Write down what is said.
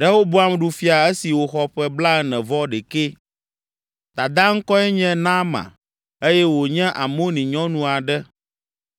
Rehoboam ɖu fia esi wòxɔ ƒe blaene-vɔ-ɖekɛ. Dadaa ŋkɔe nye Naama eye wònye Amoni nyɔnu aɖe.